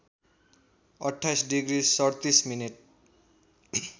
२८ degree ३७ minute